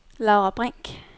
Laura Brink